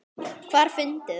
Hvar funduð þið hann?